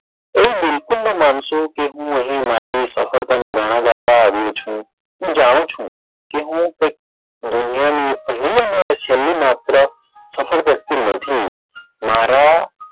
એ બિલકુલ નાં માનશો કે હું અહી મારી સફળતાના ગાણા ગાવા આવ્યો છું હું જાણું છું કે હું કઈક દુનિયાનાં છેલ્લું માત્ર સફળ વ્યક્તિ નથી. મારા,